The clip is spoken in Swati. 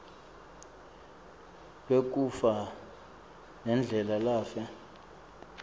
lwekufa nendlela lafe